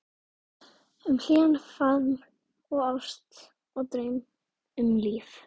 Eiríki sem horfði á hann, vankaður á svip.